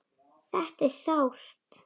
Þetta er sárt.